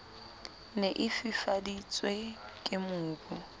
ne e fifaditswe ke mobu